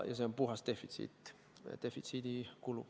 See on puhas defitsiit, kulu.